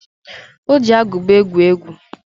Ọ ji agụba egwu egwu.